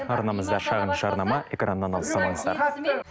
арнамызда шағын жарнама экраннан алыстамаңыздар